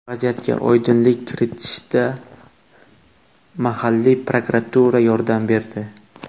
Vaziyatga oydinlik kiritishda mahalliy prokuratura yordam berdi.